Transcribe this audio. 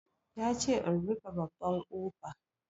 Ya ce in rufe babban ƙofa